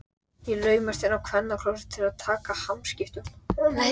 Ég laumast inn á kvennaklósettið til að taka hamskiptum.